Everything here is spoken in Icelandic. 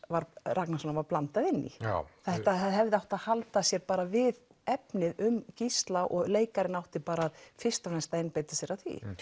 Ragnarssonar var blandað inn í já þetta hefði átt að halda sér við efnið um Gísla og leikarinn átti bara fyrst og fremst að einbeita sér að því